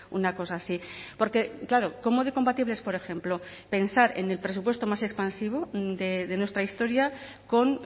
una cosa así porque claro cómo de compatible es por ejemplo pensar en el presupuesto más expansivo de nuestra historia con